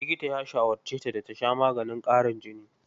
Likita ya shawarce ta da ta sha maganin ƙarin jini.